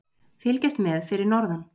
Fylgjast með fyrir norðan